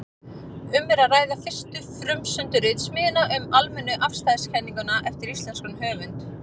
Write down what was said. Um er að ræða fyrstu frumsömdu ritsmíðina um almennu afstæðiskenninguna eftir íslenskan höfund.